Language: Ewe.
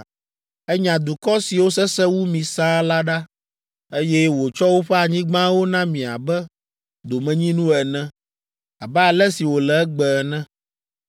Enya dukɔ siwo sesẽ wu mi sãa la ɖa, eye wòtsɔ woƒe anyigbawo na mi abe domenyinu ene, abe ale si wòle egbe ene.